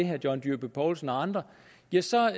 herre john dyrby paulsen og andre ja så